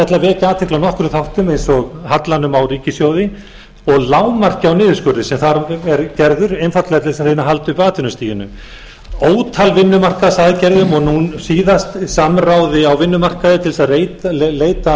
nokkrum þáttum eins og hallanum á ríkissjóði og lágmarki á niðurskurði sem þar er gerður einfaldlega til að reyna að halda uppi atvinnustiginu ótal vinnumarkaðsaðgerðum og nú síðast samráði á vinnumarkaði til að leita að